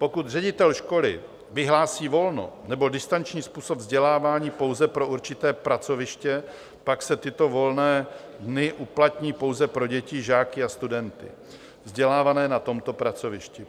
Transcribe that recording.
Pokud ředitel školy vyhlásí volno nebo distanční způsob vzdělávání pouze pro určité pracoviště, pak se tyto volné dny uplatní pouze pro děti, žáky a studenty vzdělávané na tomto pracovišti.